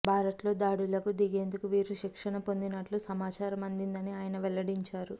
భారత్లో దాడులకు దిగేందుకు వీరు శిక్షణ పొందినట్లు సమాచారం అందిందని ఆయన వెల్లడించారు